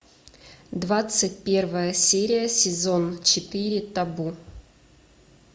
двадцать первая серия сезон четыре табу